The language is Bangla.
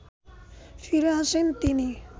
ফিরে আসেন তিনি